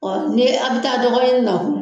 Ɔn ni a be taa dɔgɔ ɲini na.